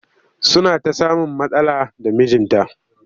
Suna ta samun matsala da mijinta